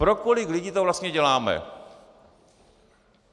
Pro kolik lidí to vlastně děláme?